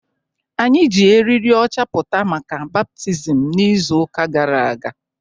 Anyị ji eriri ọcha pụta maka baptizim n'izu ụka gara aga